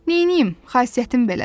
Neynim, xasiyyətim belədir.